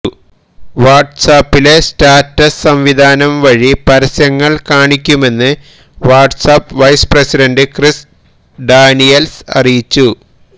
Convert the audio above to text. വാട്സ്ആപ്പിലെ status സംവിധാനം വഴി പരസ്യങ്ങള് കാണിക്കുമെന്ന് WhatsApp vice president Chris Daniels അറിയിച്ചു